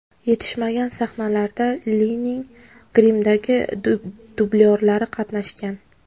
Yetishmagan sahnalarda Lining grimdagi dublyorlari qatnashgan.